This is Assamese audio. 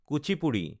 কুচিপুডি